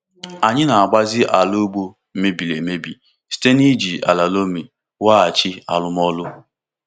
Anyị na-agbazi ala ugbo mebiri emebi site n’iji ala loamy weghachi arụmọrụ.